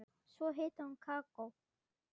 Svo hitaði hún kakó.